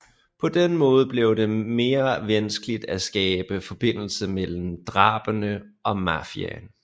På den måde blev det mere vanskeligt at skabe forbindelse mellem drabene og Mafiaen